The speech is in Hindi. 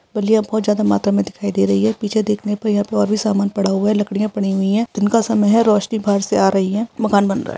बलिया बहोद ज्यादा मात्रा मे दिखाई दे रही है पीछे देखने पर यहाँ पे और भी सामान पड़ा हुआ है लकड़ियाँ पड़ी हुई है दिन का समय है रोशनी बाहर से आ रही है मकान बन रहा है।